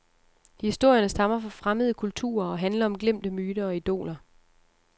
Historierne stammer fra fremmede kulturer og handler om glemte myter og idoler.